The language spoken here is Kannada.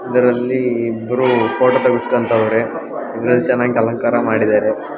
ಅದರಲ್ಲಿ ಇಬ್ಬರು ಫೋಟೋ ತೇಗಿನ್ಸ್ಕತ ಅವ್ರೆ ಇದರಲ್ಲಿ ಚೆನ್ನಾಗಿ ಅಲಂಕಾರ ಮಾಡಿದರೆ.